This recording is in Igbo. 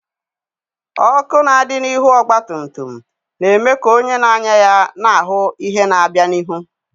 Ọkụ na-adị n'ihu ọgba tum tum na-eme ka onye na-anya ya na ahụ ihe na-abịa n'ihu.